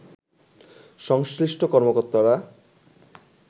সংশ্লিষ্ট কর্মকর্তারা